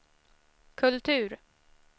kultur